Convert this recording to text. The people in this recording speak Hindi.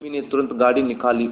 उर्मी ने तुरंत गाड़ी निकाली और